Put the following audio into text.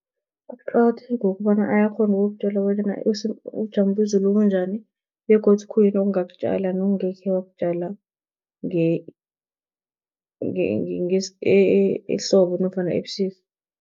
Kuqakatheke ngokobana ayakghona ukukutjela bonyana ubujamo bezulu bunjani begodu khuyini ongakutjala nokungekhe wakutjala ehlobo nofana ebusika.